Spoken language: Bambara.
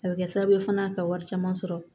A bɛ kɛ sababu ye fana ka wari caman sɔrɔ